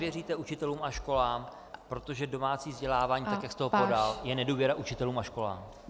Nevěříte učitelům a školám, protože domácí vzdělávání, tak jak jste ho podal, je nedůvěra učitelům a školám.